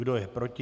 Kdo je proti?